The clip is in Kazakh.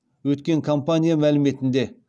өткен компания мәліметінде